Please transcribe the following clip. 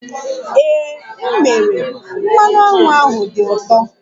Ee, m mere, mmanụ aṅụ ahụ dị ụtọ